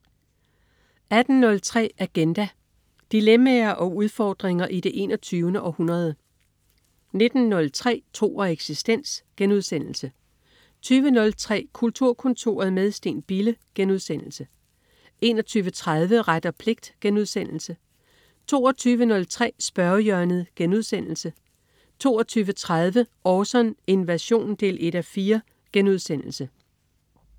18.03 Agenda. Dilemmaer og udfordringer i det 21. århundrede 19.03 Tro og eksistens* 20.03 Kulturkontoret med Steen Bille* 21.30 Ret og pligt* 22.03 Spørgehjørnet* 22.30 Orson: Invasion 1:4*